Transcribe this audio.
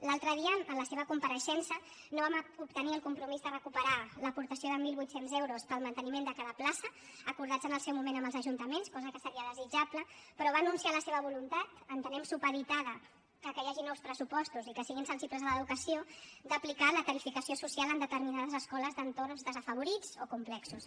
l’altre dia en la seva compareixença no vam obtenir el compromís de recuperar l’aportació de mil vuit cents euros per al manteniment de cada plaça acordats en el seu moment amb els ajuntaments cosa que seria desitjable però va anunciar la seva voluntat entenem que supeditada que hi hagi nous pressupostos i que siguin sensibles a l’educació d’aplicar la tarificació social en determinades escoles d’entorns desafavorits o complexos